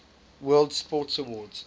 world sports awards